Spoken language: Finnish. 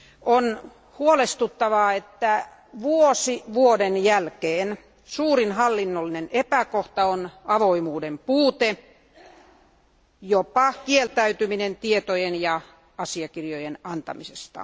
On huolestuttavaa, että vuosi vuoden jälkeen suurin hallinnollinen epäkohta on avoimuuden puute, jopa kieltäytyminen tietojen ja asiakirjojen antamisesta.